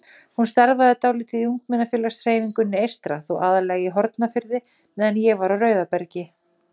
Ég starfaði dálítið í ungmennafélagshreyfingunni eystra, þó aðallega í Hornafirði meðan ég var á Rauðabergi.